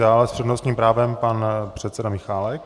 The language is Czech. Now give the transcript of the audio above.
Dále s přednostním právem pan předseda Michálek.